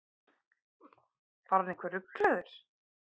Var hann eitthvað ruglaður?